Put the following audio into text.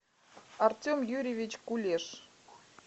артем юрьевич кулеш